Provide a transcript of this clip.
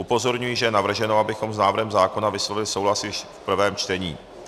Upozorňuji, že je navrženo, abychom s návrhem zákona vyslovili souhlas již v prvém čtení.